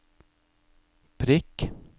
prikk